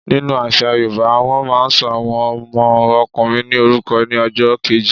Nínu àṣà yoòbá, wọ́n máa n sọ àwọn ọmọ ọkùnrin ní orúkọ ní ọjọ́ kẹẹ̀jọ